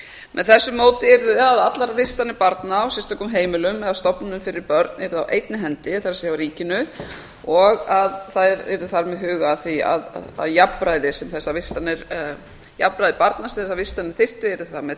með þessu móti yrðu allar vistanir barna á sérstökum heimilum eða stofnunum fyrir börn á einni hendi það er á ríkinu og að það yrði þar með hugað að því að jafnræði barna sem þessar vistanir þyrftu yrði þar með